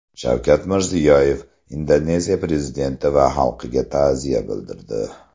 Shavkat Mirziyoyev Indoneziya prezidenti va xalqiga ta’ziya bildirdi.